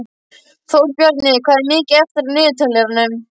Þórbjarni, hvað er mikið eftir af niðurteljaranum?